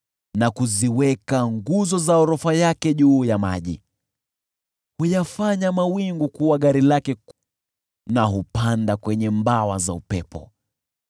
na kuziweka nguzo za orofa yake juu ya maji. Huyafanya mawingu kuwa gari lake, na hupanda kwenye mbawa za upepo.